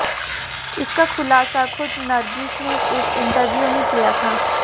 इसका खुलासा खुद नरगिस ने एक इंटरव्यू में किया था